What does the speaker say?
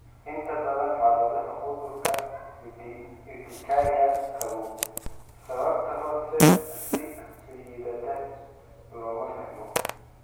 Inta badan xaaladaha cudurka urtikaria qabow, sababta hoose si liidata looma fahmo.